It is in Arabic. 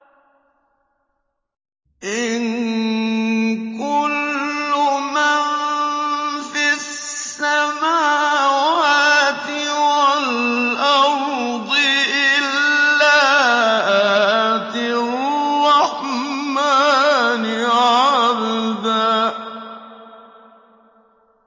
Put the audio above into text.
إِن كُلُّ مَن فِي السَّمَاوَاتِ وَالْأَرْضِ إِلَّا آتِي الرَّحْمَٰنِ عَبْدًا